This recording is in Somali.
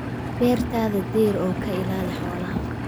Beertaada deyr oo ka ilaali xoolaha